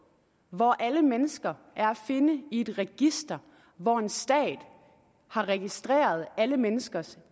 hvor alle mennesker er at finde i et register hvor en stat har registreret alle menneskers